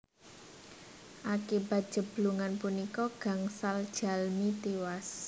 Akibat jeblugan punika gangsal jalmi tiwas